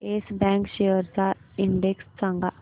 yes Bank shares चा index सांगा